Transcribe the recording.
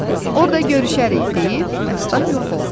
Orda görüşərik deyib, Məstan yox oldu.